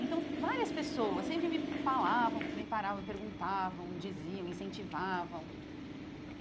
Então, várias pessoas sempre me falavam, me paravam, perguntavam, diziam, incentivavam.